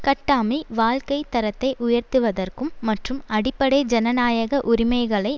கட்டாமி வாழ்க்கை தரத்தை உயர்த்துவதற்கும் மற்றும் அடிப்படை ஜனநாயக உரிமைகளை